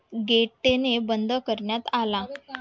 gate ने बंद करण्यात आला,